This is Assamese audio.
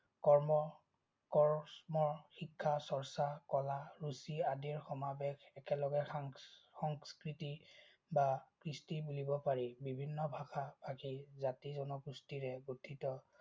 কৰ্ম, কৰচ ম, শিক্ষা, চৰ্চা, কলা, ৰুচি, আদিৰ সমাবেশ একেলগে সংস্কৃতি বা কৃষ্টি বুলিব পাৰি। বিভিন্ন ভাষাৰ জাতি জনগোষ্ঠীৰে গঠিত